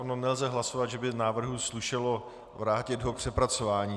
Ono nelze hlasovat, že by návrhu slušelo vrátit ho k přepracování.